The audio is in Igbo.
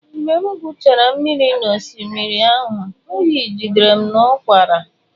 Mgbe m gwuchara mmiri n’osimiri ahụ, oyi jidere m na ụkwara.